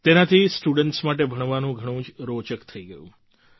તેનાથી સ્ટુડન્ટ્સ માટે ભણવાનું ઘણું જ રોચક થઈ ગયું